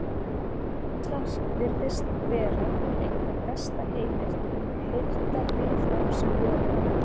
skýrslan virðist því vera einhver besta heimildin um heildarviðhorf sem völ er á